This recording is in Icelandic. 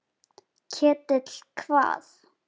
Ketill hvað?